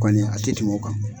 Kɔni a tɛ tɛmɛ o kan.